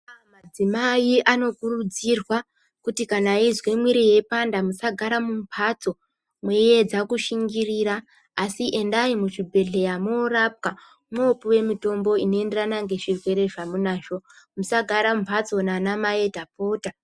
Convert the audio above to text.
Madzimai anokurudzirwa kuti kana eizwe mwiiri ichipanda musagara mumbatso meiedza kushingirira asi endai muzvibhedhlera morapwa. Mopiwa mitombo inoenderana ngezvirwere zvamuinazvo. Musagara mumbatso anamai, ndapota!